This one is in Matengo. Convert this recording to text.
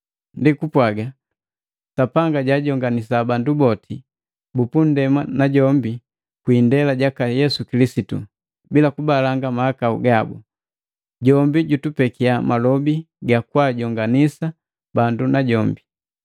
Ndi kupwaga, Sapanga jaajonganisa bandu boti bupunndema najombi kwi indela jaka Yesu kilisitu, bila kubalanga mahakau gabu. Jombi jutupeki malobi gakwaajonganisa bandu najombi.